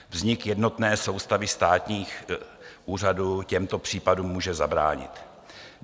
Vznik jednotné soustavy státních úřadů těmto případům může zabránit.